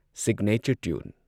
signature tune